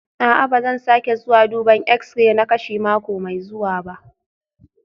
A'a, ba zan sake zuwa duban x-ray na kashi mako mai zuwa ba